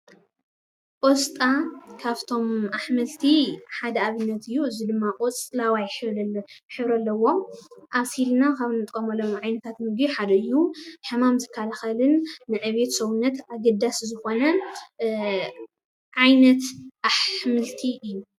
ቆስጣ ካፍቶም ኣሕምልቲ ሓደ ኣብነት እዩ፡፡ እዚ ድማ ቆፅለዋይ ሕብሪ ሕብሪ ኣለዎ፡፡ ኣብሲልና ካብ እንጥቀመሎም ዓይነታት ምግቢ ሓደ እዩ፡፡ ሕማም ዝከላኸልን ንዕብየት ሰውነት ኣገዳሲ ዝኾነን እ ዓይነት ኣሕምልቲ እዩ፡፡